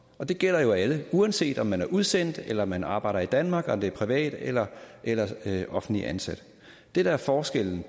og det gælder jo alle uanset om man er udsendt eller om man arbejder i danmark om man er privatansat eller eller offentligt ansat det der er forskellen